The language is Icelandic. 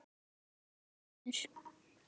Snotra er vitur